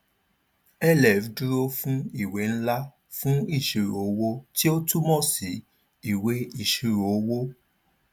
lf dúró fún ìwé ńlá fun ìṣirò owó tí ó túmọ sí ìwé ìṣirò owó